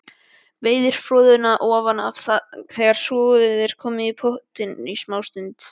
Veiðið froðuna ofan af þegar soðið hefur í pottinum smástund.